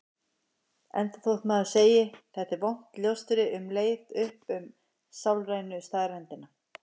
Enda þótt maður sem segi: Þetta er vont ljóstri um leið upp um sálrænu staðreyndina.